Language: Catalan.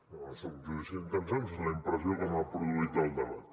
no és un judici d’intencions és la impressió que m’ha produït el debat